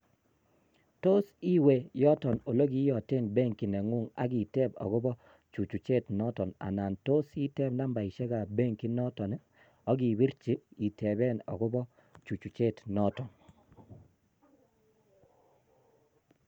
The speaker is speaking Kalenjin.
Tot iwe yoton ole kiyooten benkii nengung ak iteb akono chuchuchet noton ,anon tos iteb nambaisiek ab benkit noton ak ibirchii iteben akobo kachuchuchet noton,